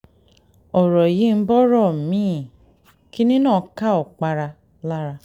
ọ̀rọ̀ yìí ń bọ́rọ̀ mi-ín kínní náà ká òkpara lára